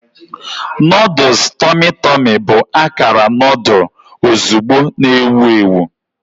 Noodles tummy tummy bụ akara noodle ozugbo na-ewu ewu.